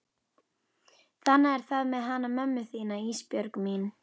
Þannig er það með hana mömmu þína Ísbjörg mín.